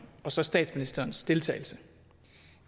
og så statsministerens deltagelse